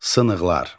Sınıqlar.